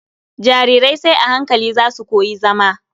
Jarirai sai a hankali za su koyi zama.